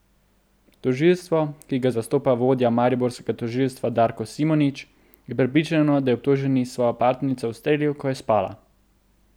Tožilstvo, ki ga zastopa vodja mariborskega tožilstva Darko Simonič, je prepričano, da je obtoženi svojo partnerico ustrelil, ko je spala.